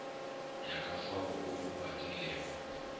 ya ka fao o badilego